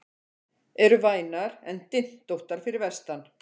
Eru vænar en dyntóttar fyrir vestan